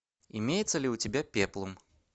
имеется ли у тебя пеплум